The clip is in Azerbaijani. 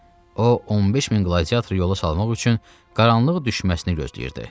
O 15 min qladiatoru yola salmaq üçün qaranlıq düşməsini gözləyirdi.